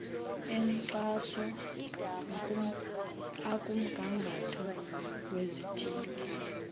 enkxaso akumgangatho wezithili